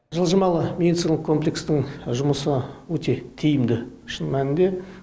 жылжымалы медициналық комплекстің жұмысы өте тиімді шын мәнінде